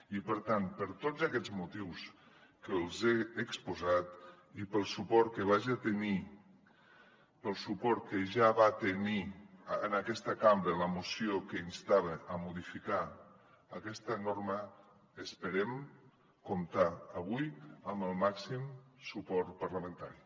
i per tant per tots aquests motius que els he exposat i pel suport que ja va tenir en aquesta cambra la moció que instava a modificar aquesta norma esperem comptar avui amb el màxim suport parlamentari